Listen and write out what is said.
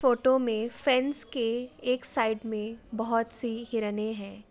Photo मे fence के एक साइड पे बहुत सी हिरने है।